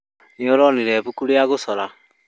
Nĩ ũronire ibuku rĩa gũcora?